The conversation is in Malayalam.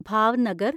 ഭാവ്നഗർ